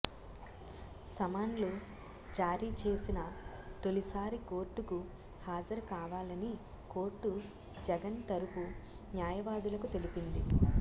సమన్లు జారీ చేసిన తొలిసారి కోర్టుకు హాజరు కావాలని కోర్టు జగన్ తరఫు న్యాయవాదులకు తెలిపింది